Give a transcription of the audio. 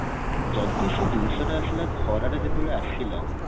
ଯଦି ସେ ଜିନିଷ ଟା ଆସିଲା ଖରା ଟା ଯେତେବେଳେ ଆସିଲା